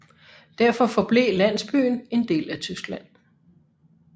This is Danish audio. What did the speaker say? Derfor forblev landsbyen en del af Tyskland